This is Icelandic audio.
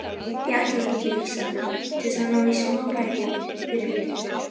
Ég ætlaði til Ísafjarðar að ná í smáræði fyrir veturinn.